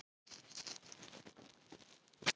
Virðist ekki vanþörf á því.